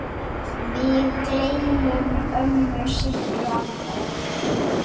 Við gleymum ömmu Sibbu aldrei.